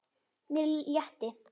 Mér létti.